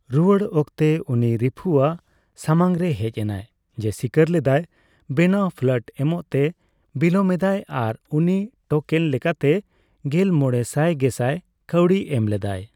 ᱨᱩᱨᱟᱹᱲ ᱚᱠᱛᱮ, ᱩᱱᱤ ᱨᱤᱝᱩ ᱟᱜ ᱥᱟᱢᱟᱝ ᱨᱮ ᱦᱮᱡ ᱮᱱᱟᱭ, ᱡᱮ ᱥᱤᱠᱟᱹᱨ ᱞᱮᱫᱟᱭ ᱵᱮᱱᱟᱣ ᱯᱷᱞᱟᱴ ᱮᱢᱚᱜ ᱛᱮ ᱵᱤᱞᱚᱢ ᱮᱫᱟᱭ ᱟᱨ ᱩᱱᱤ ᱴᱳᱠᱮᱱ ᱞᱮᱠᱟᱛᱮ ᱑᱕ ᱜᱮᱞ ᱢᱚᱲᱮ ᱥᱟᱭ ᱜᱮᱥᱟᱭ ᱠᱟᱣᱰᱤ ᱮᱢ ᱞᱮᱫᱟᱭ ᱾